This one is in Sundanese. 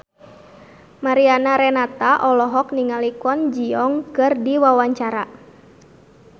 Mariana Renata olohok ningali Kwon Ji Yong keur diwawancara